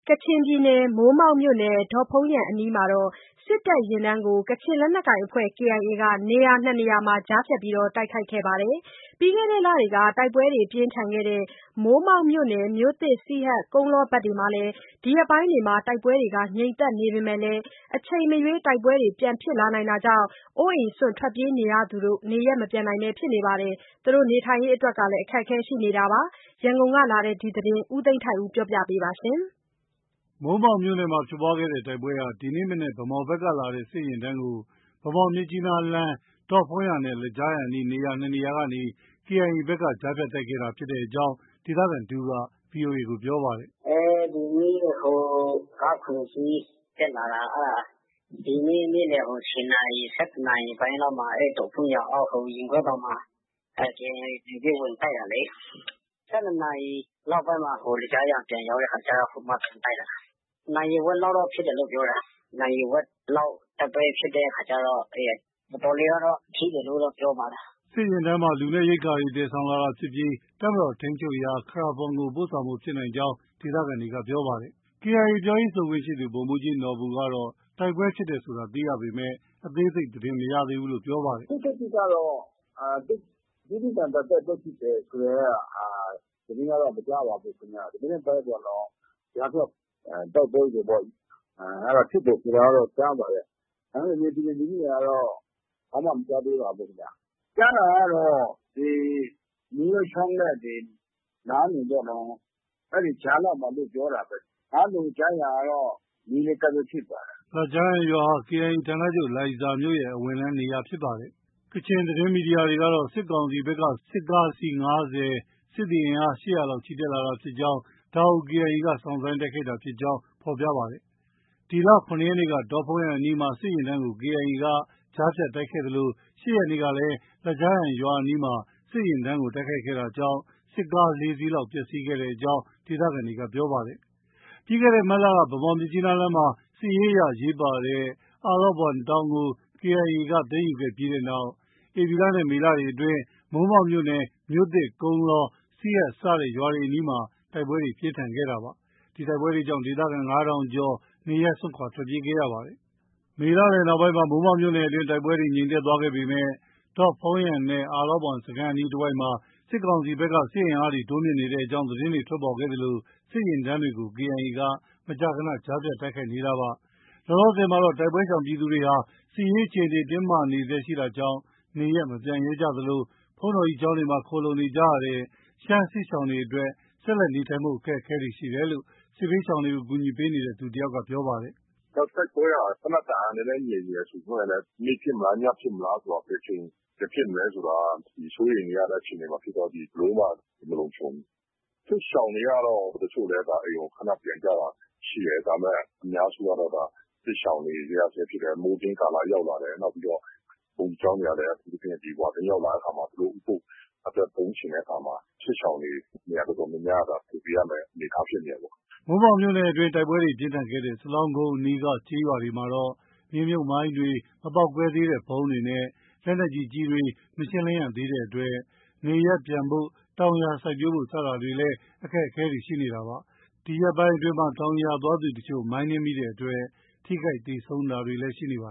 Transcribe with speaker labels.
Speaker 1: ကချင်ပြည်နယ်၊ မိုးမောက်မြို့နယ်၊ ဒေါ့ဖုန်းယန်အနီးမှာ စစ်တပ်ယာဉ်တန်းကို ကချင်လက်နက်ကိုင်အဖွဲ့ KIA က နေရာ နှစ်နေရာမှာ ကြားဖြတ်တိုက်ခိုက်ခဲ့ပါတယ်။ ပြီးခဲ့တဲ့လတွေက တိုက်ပွဲတွေ ပြင်းထန်ခဲ့တဲ့ မိုးမောက်မြို့နယ် မြို့သစ်၊ စီဟတ်၊ ကုန်းလောဘက်တွေမှာ ဒီရက်ပိုင်းအတွင်း တိုက်ပွဲတွေ ငြိမ်သက်နေပေမဲ့လည်း အချိန်မရွေး တိုက်ပွဲတွေ ပြန်ဖြစ်လာနိုင်တာကြောင့် အိုးအိမ်စွန့် ထွက်ပြေးနေရသူတွေ နေရပ်မပြန်နိုင်ဖြစ်နေသလို နေထိုင်ရေးအတွက်လည်း အခက်အခဲရှိနေပါတယ်။ ရန်ကုန်ကလာတဲ့ ဒီသတင်းကို ကိုသိန်းထိုက်ဦးက ပြောပြပါမယ်။
Speaker 2: မိုးမောက်မြို့နယ်မှာ ဖြစ်ပွားတဲ့တိုက်ပွဲဟာ ဒီမနက် ဗန်းမော်ဘက်ကလာတဲ့ စစ်ယာဉ်တန်းကို ဗန်းမော်- မြစ်ကြီးနားလမ်း၊ ဒေ့ါဖုန်းယန်နဲ့ လဂျားယန်အနီး နှစ်နေရာကနေ ကြားဖြတ်တိုက်ခိုက်ခဲ့တဲ့အကြောင်း ဒေသခံတဦးက VOA ကိုပြောပါတယ်။
Speaker 3: “ဒီနေ့ ကား ၇ စီးတက်လာတာ။ နေ့လည် ၁၀ နာရီ၊ ၁၁ နာရီလောက်မှာ ဒေါ့ဖုန်းယန်အောက် ရင်ကွဲတောင်မှာ KIA ဝင်တိုက်တာလေ။ ၁၂ နာရီနောက်ပိုင်းမှာ လဂျားယန်ပြန်ရောက်တဲ့အခါ ဟိုမှာ ပြန်တိုက်တာလေ။ နာရီ ဝက်လောက်တော့ ဖြစ်တယ်လို့ ပြောတယ်။ နာရီဝက်လောက် တိုက်ပွဲဖြစ်တဲ့အခါကျတော့ တော်တော်လေးကတော့ ထိတယ်လို့တော့ ပြောပါတယ်။
Speaker 2: ” စစ်ယာဉ်တန်းမှာ လူနဲ့ ရိက္ခာတွေ သယ်ဆောင်လာတာဖြစ်ပြီး တပ်မတော်ထိန်းချုပ်ရာ ခရာဘွမ်ကို ပို့ဆောင်ဖို့ ဖြစ်နိုင်ကြောင်း ဒေသခံတွေက ပြောပါတယ်။ KIA ပြောရေးဆိုခွင့်ရှိသူ ဗိုလ်မှူးကြီးနော်ဘူကတော့ တိုက်ပွဲဖြစ်တယ်ဆိုတာ သိရပေမဲ့ အသေးစိတ် သတင်းမရသးဘူးလို့ ပြောပါတယ်။ “ခု
Speaker 4: ထက်ထိကတော့ သိပ် ပြင်းပြင်းထန်ထန် တိုက်ပွဲဖြစ်တယ်ဆိုတဲ့ သတင်းကတော့ မကြားရပါဘူး။ ဒီမနက်ပဲပေါ့နော် ကြားဖြတ်တိုက်ပွဲတွေပေါ့၊ အဲဒါ ဖြစ်တယ်ဆိုတာတော့ ကြားပါတယ်။ ဒါပေမဲ့ မြေပြင်သတင်းတွေကတော့ ဘာမှ မကြားသေးပါဘူး။ ကြားတာကတော့ ဒီ မိုးလွဲချောင်းနဲ့ နားလုံပေါ့နော်။ အဲဒီကြားလောက်မှာလို့ ပြောတာပဲ။ နားလုံ-လဂျားယန်ကတော့ နီးနီးကပ်ကပ်ပဲဖြစ်ပါတယ်
Speaker 2: ။” လဂျားယန်ရွာဟာ KIA ဌာနချုပ် လိုင်ဇာမြို့ရဲ့ အဝင်လမ်းနေရာဖြစ်ပါတယ်။ ကချင်သတင်းမီဒီယာတွေကတော့ စစ်ကောင်စီဘက်က စစ်ကား အစီး ၅၀၊ စစ်သည်အင်အား ၈၀၀ လောက်ချီတက်လာတာဖြစ်ကြောင်း၊ ဒါကို KIA က စောင့်ဆိုင်းတိုက်ခိုက်တာဖြစ်ကြောင်း ဖော်ပြကြပါတယ်။ ဒီလ ၇ ရက်နေ့က ဒေါ့ဖုန်းယန်အနီးမှာ စစ်ယာဉ်တန်းကို KIA က ကြားဖြတ်တိုက်ခိုက်ခဲ့သလို ၈ ရက်နေ့ကလည်း လဂျားယန်ရွာအနီးမှာ စစ်ယာဉ်တန်းကို တိုက်ခိုက်တာကြောင့် စစ်ကား ၄ စီးလောက် ပျက်ဆီးခဲ့ကြောင်း ဒေသခံတွေက ပြောပါတယ်။ ပြီးခဲ့တဲ့မတ်လက ဗန်းမော်-မြစ်ကြီးနားလမ်းမှာ စစ်ရေးအရ အရေးပါတဲ့ အလော့ဘွမ်တောင်ကို KIA က သိမ်းယူခဲ့ပြီးတဲ့နောက် ဧပြီနဲ့ မေလတွေအတွင်းမှာ မိုးမောက်မြို့နယ် မြို့သစ်၊ ကုန်းလော၊ စီဟတ် စတဲ့ရွာတွေအနီးမှာ တိုက်ပွဲတွေ ပြင်းထန်ခဲ့တာပါ။ ဒီတိုက်ပွဲကြောင့် ဒေသခံ ၅,၀၀၀ ကျော်လောက် နေရပ်စွန့်ခွာထွက်ပြေးခဲ့ရပါတယ်။ မေလလည်နောက်ပိုင်းမှာ မိုးမောက်မြို့နယ်အတွင်း တိုက်ပွဲတွေ ငြိမ်သက်သွားခဲ့ပေမဲ့ ဒေါ့ဖုန်းယန်နဲ့ အလော့ဘွမ်စခန်းအနီးတဝိုက်မှာ စစ်ကောင်စီဘက်က စစ်အင်အား တိုးမြှင့်နေတဲ့သတင်းတွေ ထွက်ပေါ်ခဲ့သလို စစ်ယာဉ်တန်းတွေကို KIA က မကြာခန ကြားဖြတ်တိုက်ခိုက်ခဲ့တာပါ။ လောလောဆည်မှာတော့ တိုက်ပွဲရှောင်ပြည်သူတွေဟာ စစ်ရေးအခြေအနေ တင်းမာဆဲရှိတာကြောင့် နေရပ်မပြန်ရဲသလို ဘုန်းကြီးကျောင်းတွေမှာ ခိုလှုံနေကြရတဲ့ ရှမ်း စစ်ရှောင်တွေအတွက် ဆက်လက် နေထိုင်ဖို့အခက်အခဲတွေ ရှိနေတယ်လို့ စစ်ရှောင်တွေကို ကူညီပေးနေသူတစ်ဦးက ပြောပါတယ်
Speaker 4: ။ “တိုက်ပွဲက သေနတ်သံ နည်းနည်းငြိမ်နေတယ် ဆိုပေမဲ့လည်း နေ့ဖြစ်မလား၊ ညဖြစ်မလားဆိုတာ ဘယ်အချိန်ပြန်ဖြစ်မလဲဆိုတာ စိုးရိမ်နေရတဲ့အခြေအနေဖြစ်တော့ ဘယ်လိုမှ မလုံခြုံဘူး။ စစ်ရှောင်တွေကတော့ တချို့လည်း အိမ်ကို ခနပြန်ကြတာရှိတယ်။ ဒါပေမဲ့ အများစုကတော့ စစ်ရှောင်နေရဆဲဖြစ်တယ်။ မိုးတွင်းကာလ ရောက်လာတယ်။ နောက်ပြီးတော့ ဘုန်းကြီးကျောင်းတွေကလည်း ဝါတွင်းရောက်လာတဲ့အခါမှာ အထူးသဖြင့် သူတို့ဥပုသ်အတွက် သုံးချင်တဲ့အခါမှာ စစ်ရှောင်တွေ နေရာတော်တော်များများက ဖယ်ပေးရမယ့် အနေအထားဖြစ်နေတယ်ပေါ့
Speaker 2: ။” မိုးမောက်မြို့နယ်အတွင်း တိုက်ပွဲပြင်းထန်ခဲ့တဲ့ စလောင်းကုန်းအနီးက ကျေးရွာတွေမှာတော့ မြေမြုပ်မိုင်းတွေ၊ မပေါက်ကွဲသေးတဲ့ ဗုံးတွေနဲ့ လက်နက်ကြီးကျည်တွေ မရှင်းလင်းရသေးတာကြောင့် နေရပ်ပြန်ဖို့၊ တောင်ယာစိုက်ပျိုးဖို့ စတာတွေလည်း အခက်အခဲရှိနေတာပါ။ ဒီရက်ပိုင်းအတွင်းမှာ တောင်ယာသွားသူအချို့ မိုင်းနင်းမိတာကြောင့် ထိခိုက်သေဆုံးတာတွေလည်း ရှိနေပါ